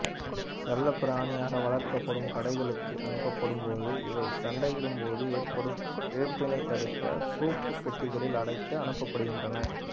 செல்லப்பிராணியாக வளர்க்கப்படும் கடைகளுக்கு அனுப்பப்படும் போது இவை சண்டையிடும் போது ஏற்படும் இழப்பினைத் தடுக்க சோப்பு பெட்டிகளில் அடைத்து அனுப்பப்படுகின்றன